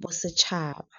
bosetšhaba.